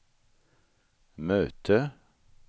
möte